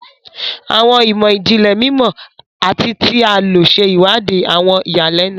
Àwọn imọ-jinlẹ mimọ ati ti a lo ṣe iwadii awọn iyalẹnu.